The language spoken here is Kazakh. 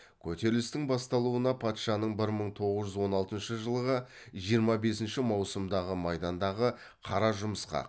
көтерілістің басталуына патшаның бір мың тоғыз жүз он алтыншы жылғы жиырма бесінші маусымдағы майдандағы қара жұмысқа